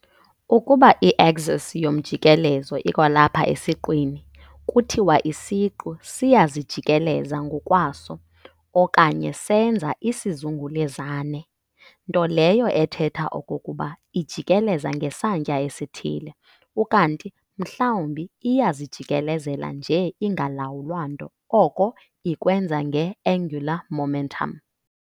Ukuba i-axis yomjikelezo ikwalapha esiqwini, kuthiwa isiqu siyazijikeleza ngokwaso, okanye senza isizungelezane - nto leyo ethetha okokuba ijikeleza ngesantya esithile, ukanti mhlawumbi iyazijikelezela nje ingalawulwa nto oko ikwenza nge-angular momentum.